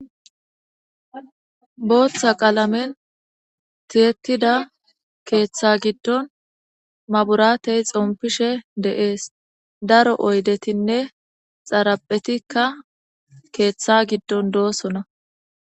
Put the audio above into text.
Booththa qalamen tiyetida keeththa giddon maburatuy xompishe de'es. Daro oydetinne xaraphetikka keeththa giddon doosona.